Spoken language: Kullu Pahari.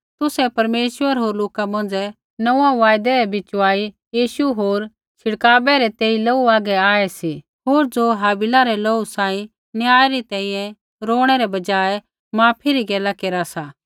तुसै परमेश्वर होर लोका मौंझ़ै नोंऊँऐं वायदै रै बिचवाई यीशु होर छिड़कावै रै तेई लोहू हागै आऐ सी होर ज़ो हाबिला रै लोहू सांही न्याय री तैंईंयैं रोणैं रै बजाय माफी री गैला केरा सा